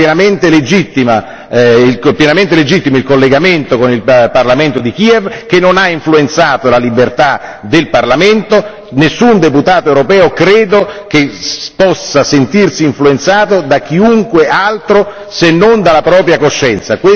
Era pienamente legittimo il collegamento con il parlamento di Kiev, che non ha influenzato la libertà del Parlamento, nessun deputato europeo credo che possa sentirsi influenzato da chiunque altro se non dalla propria coscienza.